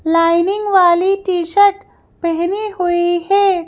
Lining वाली T shirt पहनी हुई है।